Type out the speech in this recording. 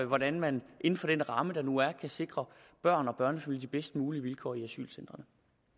hvordan man inden for den ramme der nu er kan sikre børn og børnefamilier de bedst mulige vilkår i asylcentrene